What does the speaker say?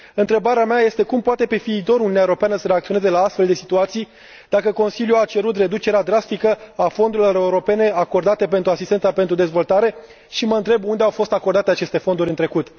Întrebarea mea este cum poate pe viitor Uniunea Europeană să reacționeze la astfel de situații, dacă Consiliul a cerut reducerea drastică a fondurilor europene acordate pentru asistența pentru dezvoltare și mă întreb unde au fost acordate aceste fonduri în trecut.